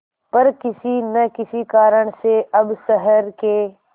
पर किसी न किसी कारण से अब शहर के